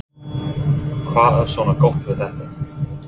Hödd: Hvað er svona gott við þetta?